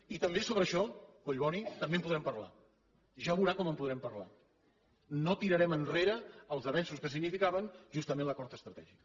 i també sobre això collboni també en podrem parlar ja veurà com en podrem parlar no tirarem enrere els avenços que significaven justament l’acord estratègic